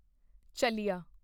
ਚਲਿਆ